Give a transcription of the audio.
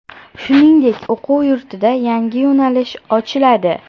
Shuningdek, o‘quv yurtida yangi yo‘nalish ochiladi.